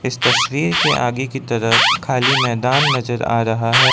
इस तस्वीर के आगे की तरफ खाली मैदान नजर आ रहा है।